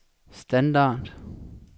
standard